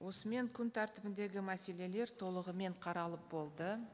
осымен күн тәртібіндегі мәселелер толығымен қаралып болды